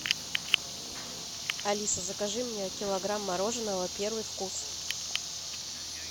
алиса закажи мне килограмм мороженого первый вкус